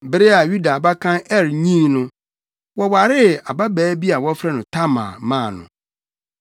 Bere a Yuda abakan Er nyin no, wɔwaree ababaa bi a wɔfrɛ no Tamar maa no.